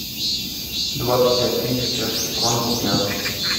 двадцать пять тысяч чешских крон в рублях